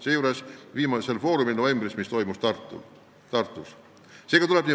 See teema oli näiteks tähelepanu all novembris toimunud viimasel foorumil, mis peeti Tartus.